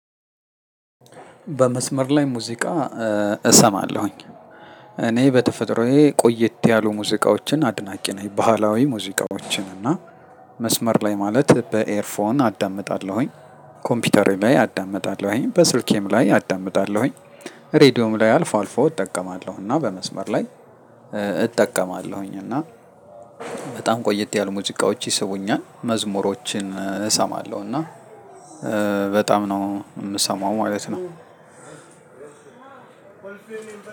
በመስመር ላይ ሙዚቃ እሰማለሁኝ እኔ በተፈጥሮዬ ቆየት ያሉ ሙዚቃዎችን አድናቂ ነኝ። ባህላዊ ሙዚቃዎችን እና መስመር ላይ ማለት በኤርፎን አዳምጣለሁኝ ኮምፒውተሬ ላይ አዳምጣለሁኝ በስልኬም ላይ አዳምጣለሁኝ። እሬድዮም ላይ አልፎ አልፎ እጠቀማለሁ እና በመስመር ላይ እጠቀማለሁኝ እና በጣም ቆየት ያሉ ሙዚቃዎች ይስቡኛል። መዝሙሮችን እሰማለሁ እና በጣም ነው እምሰማው ማለት ነው።